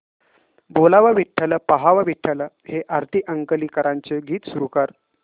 बोलावा विठ्ठल पहावा विठ्ठल हे आरती अंकलीकरांचे गीत सुरू कर